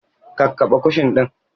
Kakkaɓe kushin ɗin!